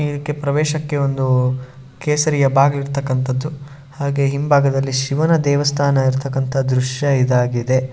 ಇದಕ್ಕೆ ಪ್ರವೇಶಕ್ಕೆ ಒಂದು ಕೇಸರಿಯ ಬಾಗಿಲ್ ಇರ್ತಕ್ಕಂತಹದ್ದು ಹಾಗೆ ಹಿಂಬಾಗದಲ್ಲಿ ಶಿವನ ದೇವಸ್ಥಾನ ಇರ್ತಕ್ಕಂತಹ ದ್ರಶ್ಯ ಇದಾಗಿದೆ.